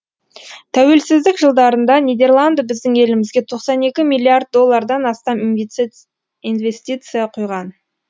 тәуелсіздік жылдарында нидерланды біздің елімізге тоқсан екі миллиард доллардан астам инвестиция құйған